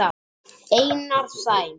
Einar Sæm.